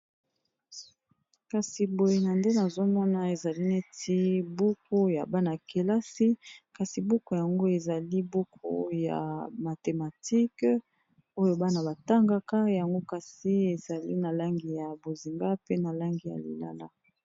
kasi boye na nde nazomona ezali neti buku ya bana kelasi kasi buku yango ezali buku ya mathematike oyo bana batangaka yango kasi ezali na langi ya bozinga pe na langi ya lilala